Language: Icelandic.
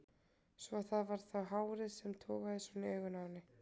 Svo að það var þá hárið sem togaði svona í augun á henni!